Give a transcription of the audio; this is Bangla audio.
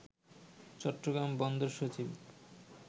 চট্টগ্রাম বন্দর সচিব